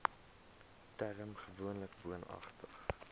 term gewoonlik woonagtig